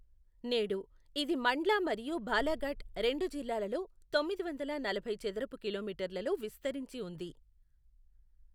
నేడు, ఇది మండ్లా మరియు బాలాఘాట్ రెండు జిల్లాలలో తొమ్మిది వందల నలభై చదరపు కిలోమీటర్లలో విస్తరించి ఉంది.